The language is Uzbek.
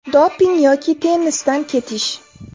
Doping yoki tennisdan ketish?